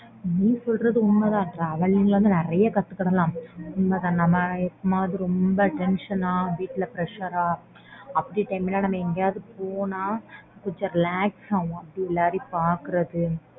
நீ சொல்றதும் உண்மை தான் travelling ல வந்து நிறைய கத்துக்கலாம் நம்ம ரொம்ப tension வீட்ல pressure அப்பிடி time ல லாம் நம்ம எங்கயாவது போனா கொஞ்சம் relax ஆகும் அப்பிடி எல்லாரையும் பாக்குறது